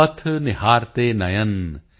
ਪਥ ਨਿਹਾਰਤੇ ਨਯਨ